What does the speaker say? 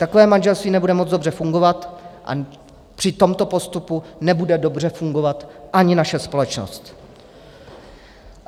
Takové manželství nebude moc dobře fungovat a při tomto postupu nebude dobře fungovat ani naše společnost.